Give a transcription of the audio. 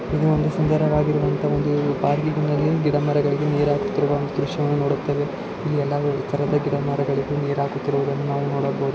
ಇದು ಒಂದು ಸುಂದರವಾಗಿರುವಂತಹ ಒಂದು ಗಿಡಮರಗಳಿಗೆ ನೀರು ಹಾಕುತ್ತಿರುವ ಒಂದು ದೃಶ್ಯವನ್ನು ನೋಡಬಹುದಾಗಿದೆ. ಇಲ್ಲಿ ಎಲ್ಲಾ ತರದ ಗಿಡಮರಗಳಿಗೂ ನೀರು ಹಾಕುತ್ತಿರುವುದನ್ನು ನಾವು ನೋಡಬಹುದಾಗಿದೆ.